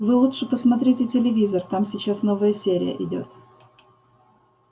вы лучше посмотрите телевизор там сейчас новая серия идёт